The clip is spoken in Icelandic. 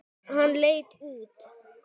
Hann leit út.